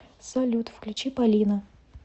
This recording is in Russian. салют включи полина